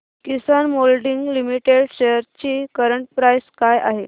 किसान moulding limited shares ची current price काय आहे